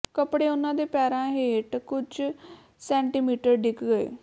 ਕੱਪੜੇ ਉਨ੍ਹਾਂ ਦੇ ਪੈਰਾਂ ਹੇਠ ਕੁਝ ਸੈਂਟੀਮੀਟਰ ਡਿੱਗ ਗਏ